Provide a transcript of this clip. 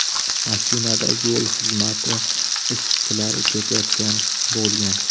Mashinada yo‘l xizmati ishchilari ketayotgan bo‘lgan.